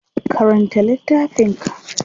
Karanta littafin ka.